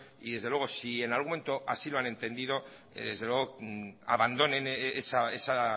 y desde luego si en algún momento así lo han entendido desde luego abandonen esa